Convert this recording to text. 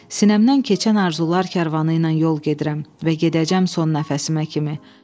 Sinəmdən keçən arzular karvanı ilə yol gedirəm və gedəcəm son nəfəsimə kimi.